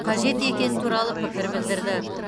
қажет екені туралы пікір білдірді